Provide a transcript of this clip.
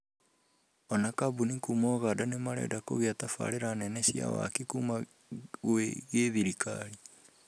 Ona kambuni kuma ũganda nĩmarenda kũgĩa tabarĩra nene cia waki kuma gwĩ githirikari